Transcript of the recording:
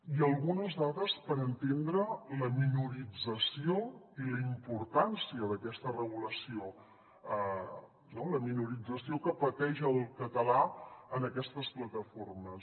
i algunes dades per entendre la minorització i la importància d’aquesta regulació no la minorització que pateix el català en aquestes plataformes